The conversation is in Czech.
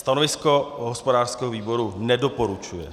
Stanovisko hospodářského výboru - nedoporučuje.